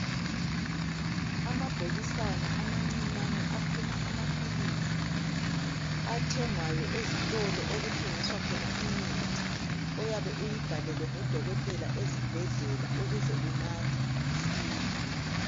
Amabhokisana amancinyane aphuma amaphilisi athengwayo ezitolo okuthengiswa khona imithi oyabe uyibhalelwe nguDokotela ezibhedlela ukuze unathe usile.